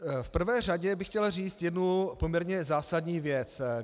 V prvé řadě bych chtěl říct jednu poměrně zásadní věc.